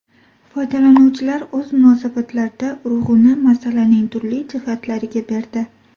Foydalanuvchilar o‘z munosabatlarida urg‘uni masalaning turli jihatlariga berdi.